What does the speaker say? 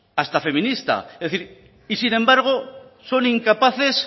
hasta feminista es decir y sin embargo son incapaces